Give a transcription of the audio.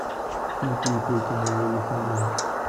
фото ип коновалов ин